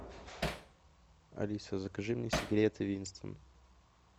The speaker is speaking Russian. алиса закажи мне сигареты винстон